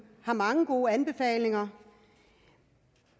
har mange gode anbefalinger